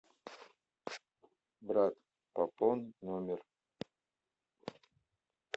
брат пополнить номер